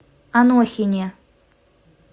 анохине